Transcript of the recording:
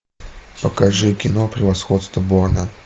покажи кино превосходство борна